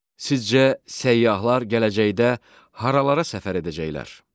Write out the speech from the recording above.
Sizcə, səyyahlar gələcəkdə haralara səfər edəcəklər?